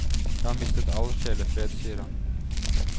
Jeg har mistet all sjelefred, sier han.